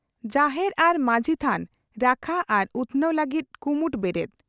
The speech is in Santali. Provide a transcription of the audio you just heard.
ᱡᱟᱦᱮᱨ ᱟᱨ ᱢᱟᱹᱡᱷᱤ ᱛᱷᱟᱱ ᱨᱟᱠᱷᱟ ᱟᱨ ᱩᱛᱷᱱᱟᱹᱣ ᱞᱟᱹᱜᱤᱫ ᱠᱩᱢᱩᱴ ᱵᱮᱨᱮᱫ